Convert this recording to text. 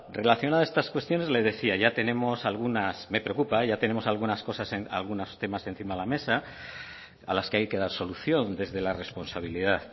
relacionado a estas cuestiones le decía ya tenemos algunas me preocupa ya tenemos algunos temas encima de la mesa a los que hay que dar solución desde la responsabilidad